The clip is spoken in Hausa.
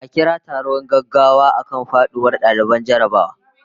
A kira taron gaggawa akan faduwar daliban jarrabawa